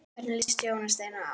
Hvernig líst Jóni Steini á?